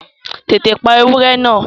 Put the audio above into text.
Tètè pa ewúrẹ́ náà!